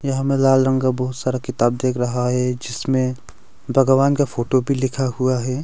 यहां में लाल रंग का बहुत सारा किताब दिख रहा है जिसमें भगवान का फोटो भी लिखा हुआ है।